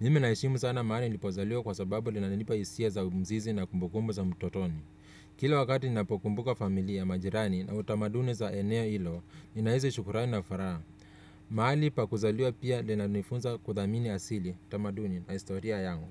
Mimi naheshimu sana mahali nilipozaliwa kwa sababu lina nipa hisia za mzizi na kumbukumbu za utotoni. Kila wakati ninapo kumbuka familia majirani na utamaduni za eneo hilo, ninahisi shukurani na furaha. Mahali pa kuzaliwa pia lina nifunza kuthamini asili utamaduni na historia yangu.